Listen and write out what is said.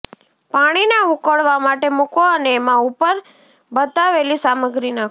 પાણીને ઉકળવા માટે મુકો અને એમાં ઉપર બતાવેલી સામગ્રી નાખો